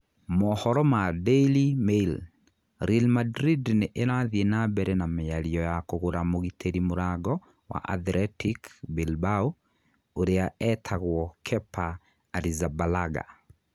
(Mohoro ma Daily Mail) Real Madrid nĩ ĩrathiĩ na mbere na mĩario ya kũgũra mũgitĩri mũrango wa Athletic Bilbao ũria etagwo Kepa Arrizabalaga.